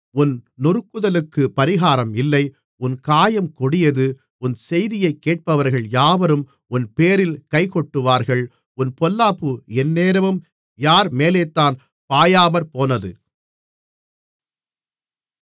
உன் நொறுங்குதலுக்குப் பரிகாரம் இல்லை உன் காயம் கொடியது உன் செய்தியைக் கேட்பவர்கள் யாவரும் உன்பேரில் கைகொட்டுவார்கள் உன் பொல்லாப்பு எந்நேரமும் யார் மேலேதான் பாயாமற்போனது